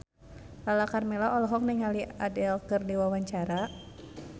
Lala Karmela olohok ningali Adele keur diwawancara